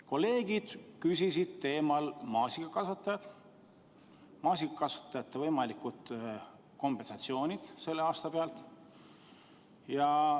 Kolleegid küsisid maasikakasvatajate võimalike kompensatsioonide kohta sellel aastal.